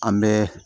An bɛ